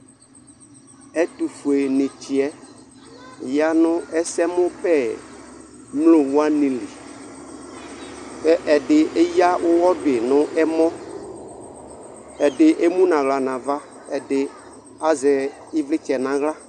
Ɛtufʊenitsɛ yanu ɛsɛmubɛ mlo wani li ɛdi eya ʊwɔdu nu ɛmɔ ɛdi emʊ naɣla nava ɛdi azɛ ivlitsɛ naɣla